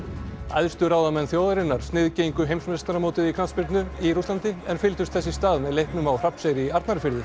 æðstu ráðamenn þjóðarinnar sniðgengu heimsmeistaramótið í knattspyrnu í Rússlandi en fylgdust þess í stað með leiknum á Hrafnseyri í Arnarfirði